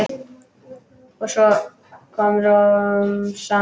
Svo kom romsan.